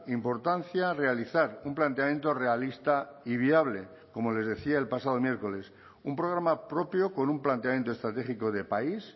importancia realizar un planteamiento realista y viable como les decía el pasado miércoles un programa propio con un planteamiento estratégico de país